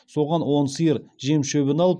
соған он сиыр жем шөбін алып